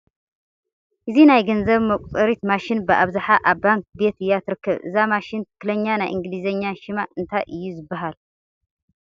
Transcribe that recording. እዛ ናይ ገንዘብ መቁፀሪት ማሽን ብኣብዝሓ ኣብ ባንኪ ቤት እያ ትርከብ፡፡ እዛ ማሽን ትኽኽለኛ ናይ እንግሊዝኛ ሸማ እንታይ እዩ ዝበሃል?